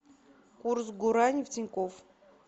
курс гуарани в тинькофф